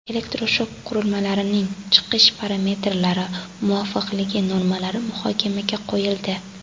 Elektroshok qurilmalarining chiqish parametrlari muvofiqligi normalari muhokamaga qo‘yildi.